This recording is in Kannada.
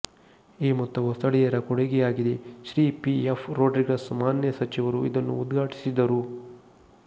ಈ ಮೊತ್ತವು ಸ್ಥಳೀಯರ ಕೊಡುಗೆಯಾಗಿದೆ ಶ್ರೀ ಪಿ ಎಫ್ ರೊಡ್ರಿಗಸ್ ಮಾನ್ಯ ಸಚಿವರು ಇದನ್ನು ಉದ್ಘಾಟಿಸಿದರು